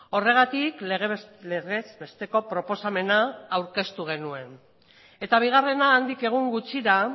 horregatik legez besteko proposamena aurkeztu genuen eta bigarrena handik egun gutxira